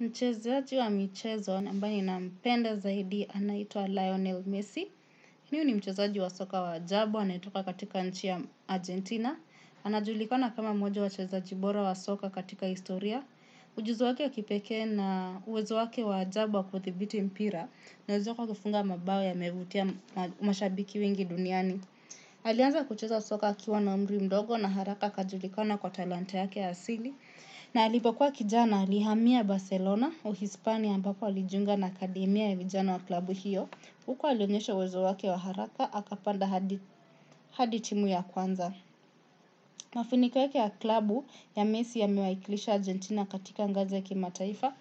Mchezaji wa michezo, na ambaye na mpenda zaidi, anaitwa Lionel Messi. Huyu ni mchezaji wa soka wa ajabu, anayetoka katika nchi ya Argentina. Anajulikana kama mmoja wa wachezaji bora wa soka katika historia. Ujuzi wake ya kipeke na uwezo wake wa ajabu wa kudhibiti mpira. Na uwezo wake wa kufunga mabao yamevutia mashabiki wengi duniani. Alianza kucheza soka akiwa na umri mdogo na haraka akajulikana kwa talanta yake asili. Na alipo kuwa kijana alihamia Barcelona Uhispania ambako alijunga na akademia ya vijana wa klabu hiyo huko alionyesha uwezo wake wa haraka, akapanda hadi timu ya kwanza mafanikio yake ya klabu ya Messi ame iwaikilisha Argentina katika ngazi kimataifa.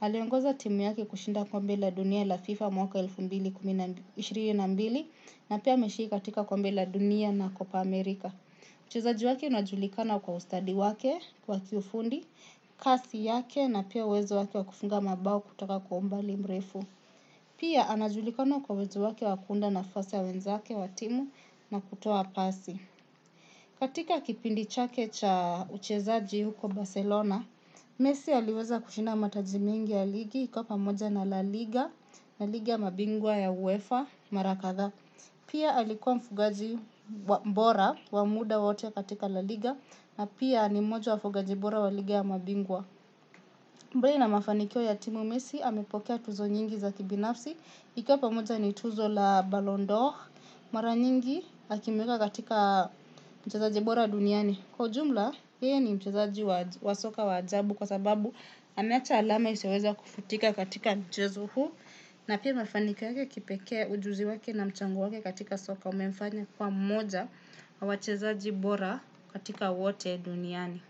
Aliongoza timu yake kushinda kombe la dunia la FIFA mwaka elfu mbili na ishirini na mbili. Na pia ameshiriki katika kombe la dunia na kopa Amerika. Uchezaji wake unajulikana kwa ustadi wake, kwa kiufundi, kasi yake na pia uwezo wake wakufunga mabao kutoka kwa umbali mrefu. Pia anajulikana kwa uwezo wake wakuunda nafasa ya wenzake wa timu na kutoa pasi. Katika kipindi chake cha uchezaji huko Barcelona, Messi aliweza kushinda mataji mingi ya ligi ikiwa pamoja na laliga na ligi ya mabingwa ya UEFA mara kadha. Pia alikuwa mfungaji bora, wa muda wote katika la liga. Na pia ni moja wa wafungaji bora wa liga ya mabingwa. Mbali na mafanikio ya timu Messi, amepokea tuzo nyingi za kibinafsi ikiwa pamoja ni tuzo la Ballon d'Or. Mara nyingi, akimweka katika mchezaji bora duniani. Kwa ujumla, hiyo ni mchezaji wa soka wa ajabu kwa sababu ana acha alama isioweza kufutika katika mchazo huu. Na pia mafanikio yake ya kipeke ujuzi wake na mchango wake katika soka umefanya kwa mmoja wa wachezaji bora katika wote duniani.